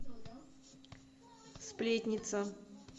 сплетница